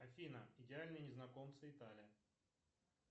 афина идеальные незнакомцы италия